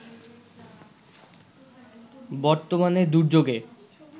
বর্তমানে দুর্যোগে